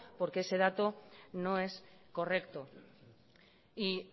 porque ese dato no es correcto y